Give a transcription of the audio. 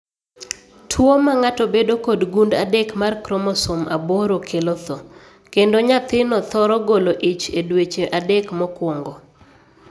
Tuo mang'ato bedo kod gund adek mar kromosom aboro kelo tho, kendo nyathino thoro golo ich e dueche adek mokwongo.